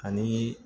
Ani